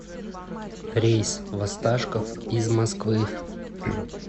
рейс в осташков из москвы